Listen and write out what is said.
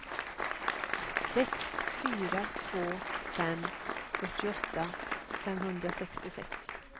sex fyra två fem fyrtioåtta femhundrasextiosex